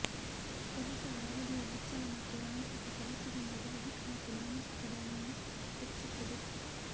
ಕೆಲಸದ ಅವಧಿಯ ಹೆಚ್ಚಳ ಮತ್ತು ಯಾಂತ್ರಿಕ ಕೆಲಸದಿಂದ ದೈಹಿಕ ಮತ್ತು ಮಾನಸಿಕ ದಣಿವು ಹೆಚ್ಚುತ್ತದೆ